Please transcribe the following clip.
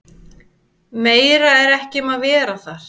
Meira er ekki um að vera þar.